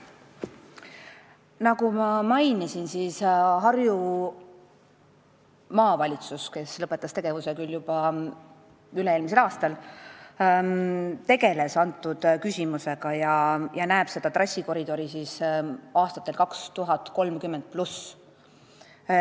Nagu ma mainisin, Harju Maavalitsus, kes lõpetas tegevuse juba üle-eelmisel aastal, tegeles selle küsimusega ja näeb seda trassikoridori aastatel 2030+.